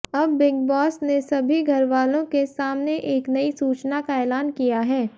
अब Bigg Boss ने सभी घरवालों के सामने एक नई सूचना का ऐलान किया है